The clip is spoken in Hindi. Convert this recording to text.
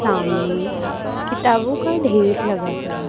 सामने किताबों का ढेर लगा हुआ--